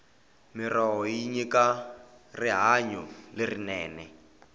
mirhoho yi nyika rihanyo lerinene